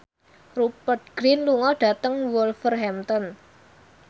Rupert Grin lunga dhateng Wolverhampton